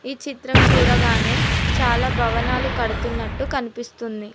ఈ చిత్రం చూడగానే చాలా భవనాలు కడుతున్నట్టు కనిపిస్తుంది.